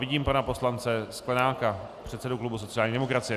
Vidím pana poslance Sklenáka, předsedu klubu sociální demokracie.